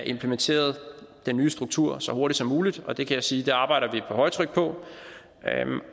implementeret den nye struktur så hurtigt som muligt og det kan jeg sige vi arbejder på højtryk på